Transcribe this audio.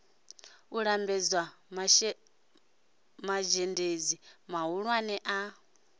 u lambedza mazhendedzi mahulwane a